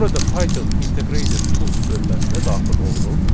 Burada Python integrated tools bölgəsinə daxil oluruq.